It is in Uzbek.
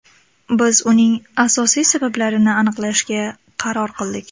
Biz uning asosiy sabablarini aniqlashga qaror qildik.